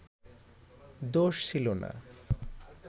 দোষ ছিলো না